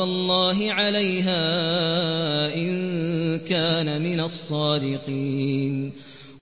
اللَّهِ عَلَيْهَا إِن كَانَ مِنَ الصَّادِقِينَ